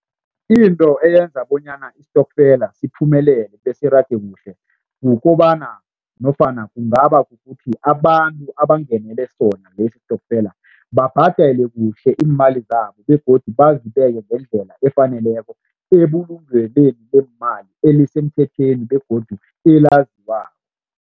Into eyenza bonyana isitokfela siphumelele besirage kuhle kukobana nofana kungaba kukuthi abantu abangenele sona leso sitokfela babhadele kuhle iimali zabo begodu bazibeke ngendlela efaneleko ebulungelweni leemali elisemthethweni begodu elaziwako.